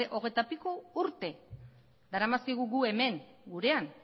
hogeita piko urte daramazkigu gu hemen gurean